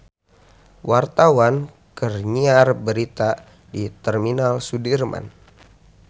Wartawan keur nyiar berita di Terminal Sudirman